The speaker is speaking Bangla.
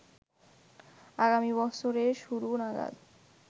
আগামী বছরের শুরু নাগাদ